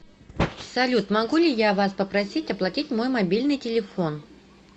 салют могу ли я вас попросить оплатить мой мобильный телефон